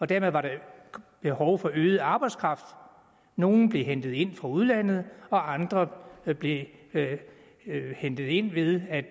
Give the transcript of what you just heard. dermed var der behov for øget arbejdskraft nogle blev hentet ind fra udlandet og andre blev hentet ind ved at